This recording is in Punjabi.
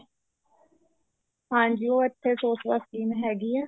ਹਾਂਜੀ ਉਹ ਇੱਥੇ ਸੋ ਸਕੀਮ ਹੈਗੀ ਆ